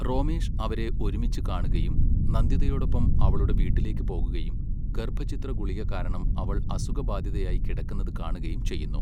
റോമേഷ് അവരെ ഒരുമിച്ച് കാണുകയും നന്ദിതയോടൊപ്പം അവളുടെ വീട്ടിലേക്ക് പോകുകയും ഗർഭച്ഛിദ്ര ഗുളിക കാരണം അവൾ അസുഖബാധിതയായി കിടക്കുന്നത് കാണുകയും ചെയ്യുന്നു.